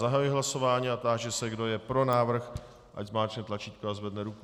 Zahajuji hlasování a táži se, kdo je pro návrh, ať zmáčkne tlačítko a zvedne ruku.